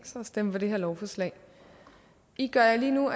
sig at stemme for det her lovforslag i gør jer lige nu